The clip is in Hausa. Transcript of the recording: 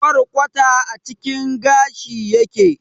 Kwarkwata a cikin gashi yake